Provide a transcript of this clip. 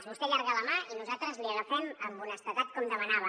vostè allarga la mà i nosaltres la hi agafem amb honestedat com demanava